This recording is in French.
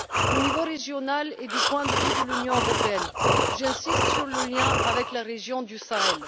Au niveau régional et du point de vue de l'Union européenne, j'insiste sur le lien avec la région du Sahel.